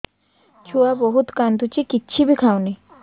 ଛୁଆ ବହୁତ୍ କାନ୍ଦୁଚି କିଛିବି ଖାଉନି